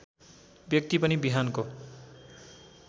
व्यक्ति पनि बिहानको